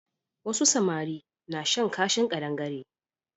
Wasu samari na shan kashin ƙadangare.